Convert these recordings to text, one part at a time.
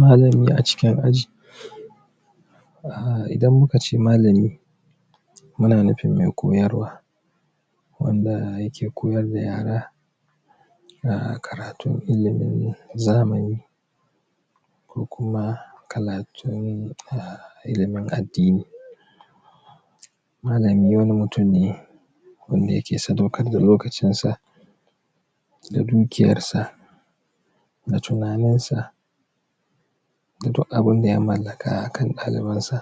malami a cikin aji idan muka ce malami muna nufin me koyarwa wandaa yake koyar da yara karatun ilimin zamani ko kuma karatun ilimin addini malami wani mutum ne wanda yake sadaukar da lokacin sa da dukiyar sa da tunanin sa da duk abinda ya mallaka akan ɗalibin sa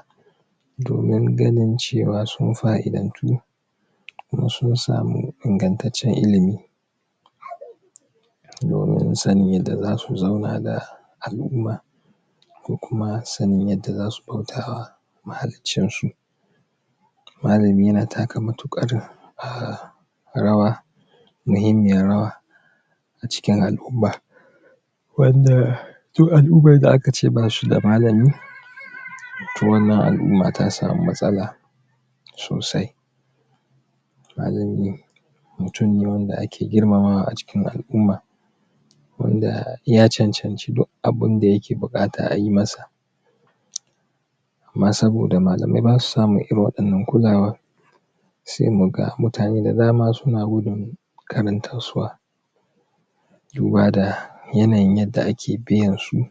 domin ganin cewa sun fa'idantu kuma sun samu ingantaccen ilimi domin sanin yadda zasu zauna daa al'u'ma ko kuma sanin yadda zasu bautawa mahaliccin su malami yana taka matuƙar rawa muhimmiyar rawa a cikin al'umma wandaa duk al'ummar da aka ce basu da malami to wannan al'umma ta samu matsala sosai malami de mutum ne wanda ake girmamawa a cikin al'umma wanda yaa cancanci duk abinda yake buƙata ayi masa amma saboda malamai basu samun irin waɗannan kulawa se mu ga mutane da dama suna gudun karantaswa duba da yanayin yadda ake biyansu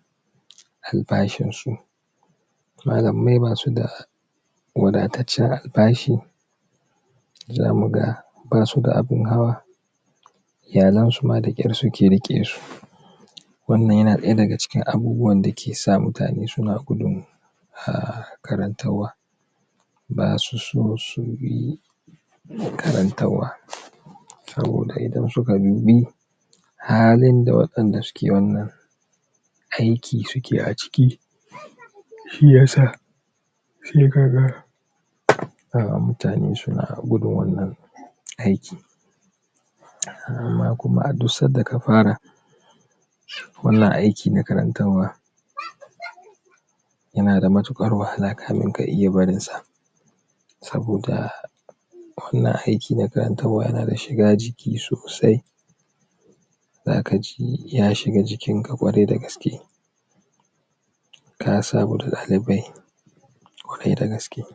albashinsu malammai basu daa wadatacciyar albashi zamu gaa basu da abin hawa iyalan su ma dakyar suke riƙe su wannan yana ɗaya daga cikin abubuwan da ke sa mutane suna gudun karantarwa basu so su bi dan karantarwa saboda idan suka dubi halin da waɗanda suke wannan aiki suke a ciki shiyasa se ka ga mutane suna gudun wannan aiki amma kuma duk sadda ka fara wannan aiki na karantarwa yana da matuƙar wahala kamin ka iya barin sa sabodaa wannan aiki na karantarwa yana da shiga jiki sosai zaka ji ya shiga jikinka ƙwarai da gaske ka sabu da ɗalibbai ƙwarai da gaske